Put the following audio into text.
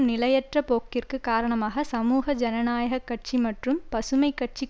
நிலையற்ற போக்கிற்கு காரணமாக சமூக ஜனநாயக கட்சி மற்றும் பசுமை கட்சி